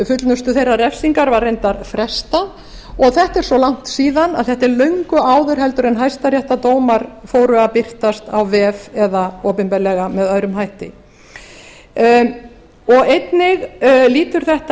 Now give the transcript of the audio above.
fullnustu þeirrar refsingar var reyndar frestað og þetta er svo langt síðan að þetta er löngu áður en hæstaréttardómar fóru að birtast á vef eða opinberlega með öðrum hætti einnig lýtur þetta